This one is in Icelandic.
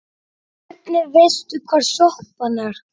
Hvernig veistu hvar sjoppan er?